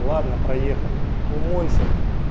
ладно проехали умойся